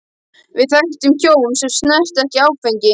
Við þekktum hjón sem snertu ekki áfengi.